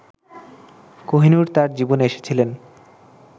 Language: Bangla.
কোহিনূর তাঁর জীবনে এসেছিলেন